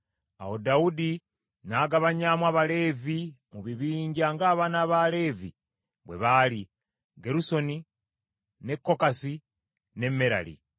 Awo Dawudi n’agabanyamu Abaleevi mu bibinja ng’abaana ba Leevi bwe baali: Gerusoni, ne Kokasi ne Merali.